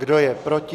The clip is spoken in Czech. Kdo je proti?